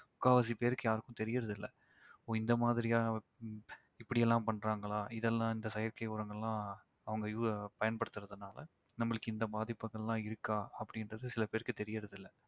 முக்காவாசி பேருக்கு யாருக்கும் தெரியறதில்ல. ஓ இந்த மாதிரியா இப்படி எல்லாம் பண்றாங்களா இதெல்லாம் இந்த செயற்கை உரங்கெல்லாம் அவங்க us~ பயன்படுத்துறதுனால நம்மளுக்கு இந்த பாதிப்புகெல்லாம் இருக்கா அப்படின்றது சில பேருக்கு தெரியறதில்லை